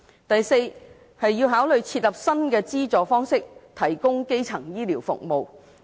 第四，考慮設立新資助方式提供基層醫療服務。